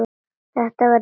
Þetta var nýr frakki.